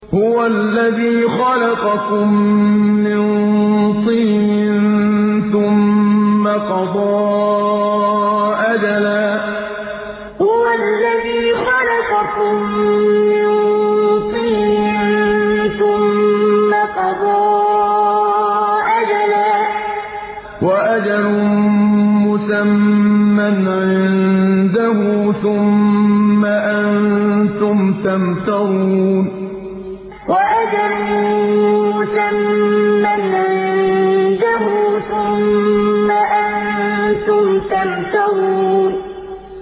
هُوَ الَّذِي خَلَقَكُم مِّن طِينٍ ثُمَّ قَضَىٰ أَجَلًا ۖ وَأَجَلٌ مُّسَمًّى عِندَهُ ۖ ثُمَّ أَنتُمْ تَمْتَرُونَ هُوَ الَّذِي خَلَقَكُم مِّن طِينٍ ثُمَّ قَضَىٰ أَجَلًا ۖ وَأَجَلٌ مُّسَمًّى عِندَهُ ۖ ثُمَّ أَنتُمْ تَمْتَرُونَ